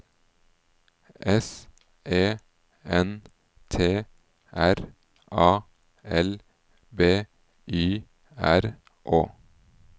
S E N T R A L B Y R Å